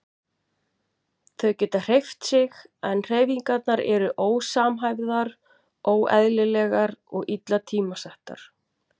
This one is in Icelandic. Þau geta hreyft sig en hreyfingarnar eru ósamhæfðar, óeðlilegar og illa tímasettar.